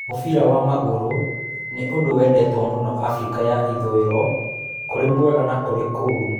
Mũbira wa magũrũ nĩ ũndũ wendetwo mũno Afrika ya Ithũĩro-kurĩ mwega na kurĩ kũru.